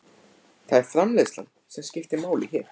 Það er framreiðslan sem skiptir máli hér.